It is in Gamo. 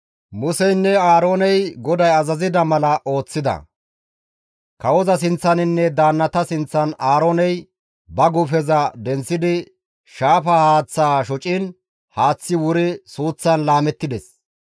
Museynne Aarooney GODAY azazida mala ooththida. Kawoza sinththaninne daannata sinththan Aarooney ba guufeza denththidi shaafa haaththaa shociin haaththi wuri suuththan laamettides.